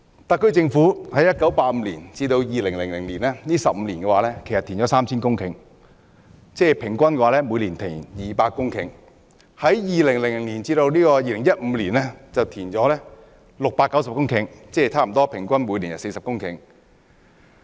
特區政府在1985年至2000年15年期間，經填海獲得 3,000 公頃土地，即平均每年有200公頃填海土地；而在2000年至2015年期間，經填海獲得690公頃，即平均每年40公頃。